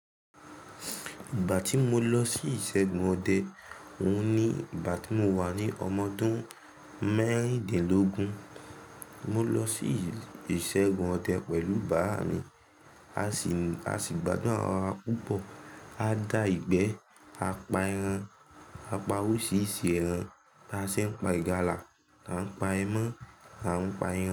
Ìgbà tí mo lọ sí ìṣẹ́gun ọdẹ, òun ní ìgbà tí mo wà ní ọmọ dún mẹ́rìndínlógún. Mo lọ sí ìṣẹ́gun ọdẹ pẹ̀lú bàbá mi. A sì, a sì gbádùn ara wa púpọ̀. A dà ìgbẹ́, a pa ẹran, a pa oríṣiríṣi ẹran, báa ṣe ń pa ìgalà, lá ń pa ẹmọ́, la ń pa ẹran.